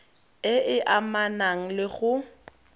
e e amanang le go